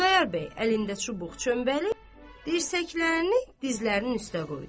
Xudayar bəy əlində çubuq çöməli, dirsəklərini dizlərinin üstə qoydu.